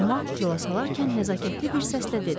Amma yola salarkən nəzakətli bir səslə dedi: